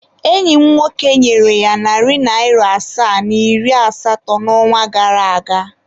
Enyi m nwoke nyere ya narị naịra asaa na iri asatọ n'ọnwa gara aga.